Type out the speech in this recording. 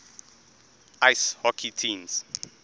ice hockey teams